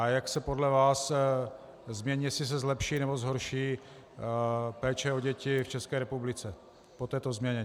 A jak se podle vás změní, jestli se zlepší, nebo zhorší péče o děti v České republice po této změně.